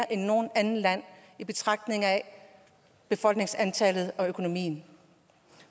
end noget andet land i betragtning af befolkningsantallet og økonomien